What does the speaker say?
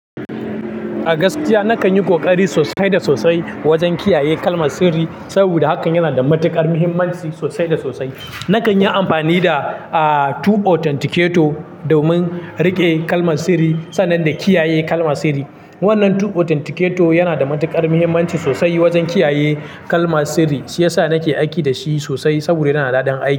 A gaskiya, na kan yi ƙoƙari sosai da sosai wajen kiyaye kalmar sirri saboda hakan yana da matuƙar muhimmanci sosai da sosai. Na kan yi amfani da, ah, two authenticator domin riƙe kalmar sirri sannan da kiyaye kalmar sirri. Wannan two authenticator yana da matuƙar muhimmanci sosai wajen kiyaye kalmar sirri. Shi ya sa nake aiki da shi sosai saboda yana da daɗin aiki.